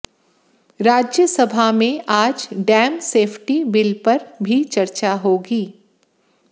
राज्यसभा में आज dam safety bill पर भी चर्चा होगी